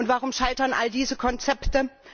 Und warum scheitern all diese Konzepte?